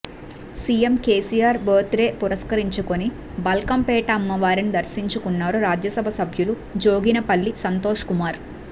CM KCR birthday పురస్కరించుకుని బల్కంపేట అమ్మవారిని దర్శించుకున్నారు రాజ్యసభ సభ్యులు జోగినిపల్లి సంతోష్ కుమార్